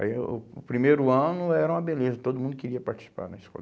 Aí o o primeiro ano era uma beleza, todo mundo queria participar na escola.